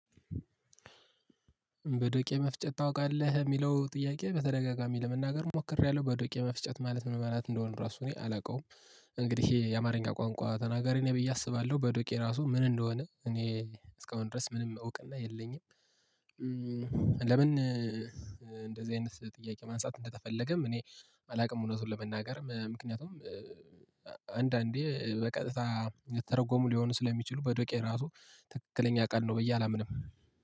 በዶቄ መፍጨት ታውቃለህ የሚለው ጥያቄ በተደጋጋሚ ለመናገር ሞክሬያለሁ በዶቄ መፍጨት ማለት ምን መላእክት እንደሆነ ራሱ እኔ አላውቀውም። እንግዲህ የአማርኛ ቋንቋ ተናጋሪ ንኝ ብዬ አስባለሁ በዶቄ ራሱ ምን እንደሆነ እኔ እስካሁን ድረስ ምንም እውቅና የለኝም። ለምን? እንደዚህ አይነት ጥያቄ ማንሳት እንደተፈለገም እኔ አላውቅም እውነቱን ለመናገር ምክንያቱም አንዳንዴ በቀጥታ ተርጎሙ ሊሆኑ ስለሚችሉ በዶቄ ራሱ ትክክለኛ ቃል ነው ብዬ አላምንም